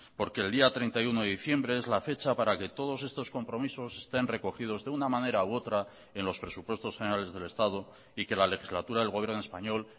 porque el día treinta y uno de diciembre es la fecha para que todos estos compromisos estén recogidos de una manera u otra en los presupuestos generales del estado y que la legislatura del gobierno español